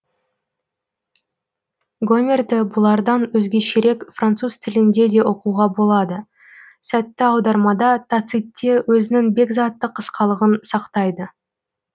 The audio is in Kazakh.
гомерді бұлардан өзгешерек француз тілінде де оқуға болады сәтті аудармада тацитте өзінің бекзаттық қысқалығын сақтайды